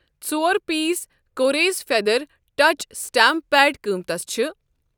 ژور پیٖس کوریز feather touch stamp pad قۭتِس چھ ۔